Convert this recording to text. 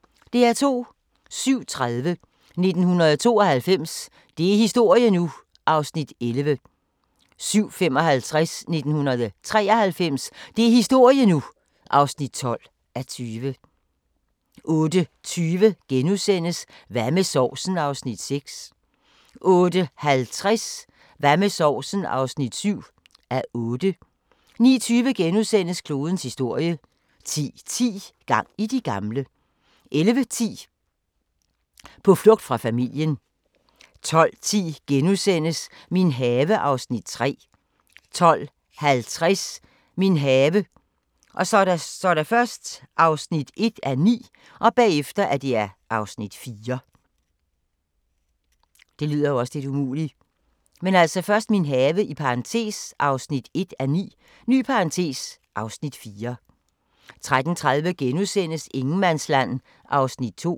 07:30: 1992 – det er historie nu! (11:20) 07:55: 1993 – det er historie nu! (12:20) 08:20: Hvad med sovsen? (6:8)* 08:50: Hvad med sovsen? (7:8) 09:20: Klodens historie (1:5)* 10:10: Gang i de gamle! 11:10: På flugt fra familien 12:10: Min have (Afs. 3)* 12:50: Min have (1:9) (Afs. 4) 13:30: Ingenmandsland (2:6)*